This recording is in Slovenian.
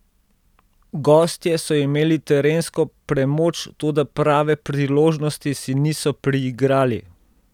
Gostje so imeli terensko premoč, toda prave priložnosti si niso priigrali.